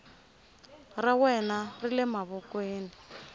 ra wena ri le mavokweni